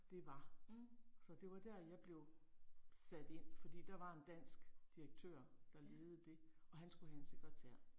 Det var. Så det var der jeg blev sat ind, fordi der var en dansk direktør, der ledede det og han skulle have en sekretær